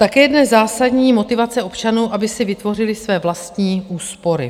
Také je dnes zásadní motivace občanů, aby si vytvořili své vlastní úspory.